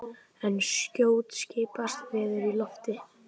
En skjótt skipast veður í lofti!